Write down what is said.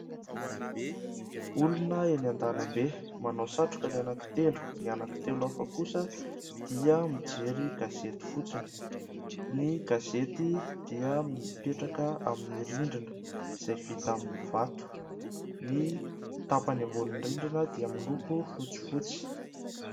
Olona eny an-dalambe, manao satroka ny anankitelo. Ny anankitelo hafa kosa dia mijery gazety fotsiny. Ny gazety dia mipetaka amin'ny rindrina izay vita amin'ny vato. Ny tapany ambonin'ny rindrina dia miloko fotsifotsy.